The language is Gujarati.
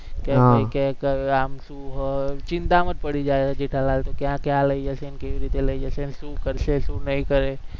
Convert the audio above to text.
કે કે આમ શું હોય, ચિંતામાં જ પડી જાય જેઠાલાલ કે ક્યાં ક્યાં લઇ જાય છે ને કેવી રીતે લઇ જાય છે ને શું કરશે, શું નઈ કરે